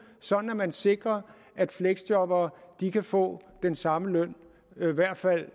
sådan at man sikrer at fleksjobberne kan få den samme løn i hvert fald